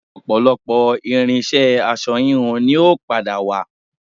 Ọ̀pọ̀lọpọ̀ irinṣẹ́ aṣọ híhun ni yóò padà wà